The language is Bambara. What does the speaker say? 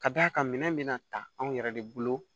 Ka d'a kan minɛn bɛ na ta anw yɛrɛ de bolo